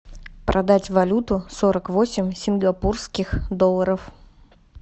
продать валюту сорок восемь сингапурских долларов